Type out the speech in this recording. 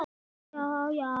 Guðný: Sástu eftir því?